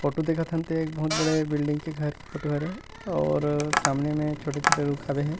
Photo देखत हन ते ह एक बहुत बड़े बिल्डिंग के घर फोटो हरे और सामने में छोटे-छोटे रुख हावे हे ।